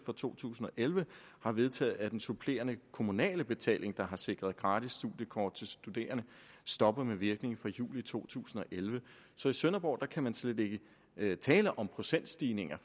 for to tusind og elleve har vedtaget at den supplerende kommunale betaling der har sikret gratis studiekort til studerende stopper med virkning fra juli to tusind og elleve så i sønderborg kan man slet ikke tale om nogen procentstigning da